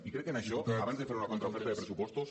i crec que en això abans de fer una contraoferta de pressupostos